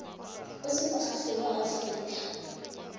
o se moagi wa aforika